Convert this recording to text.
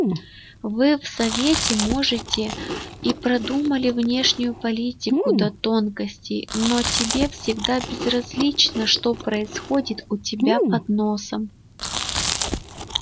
вы в совете можете и продумали внешнюю политику до тонкостей но тебе всегда безразлично что происходит у тебя под носом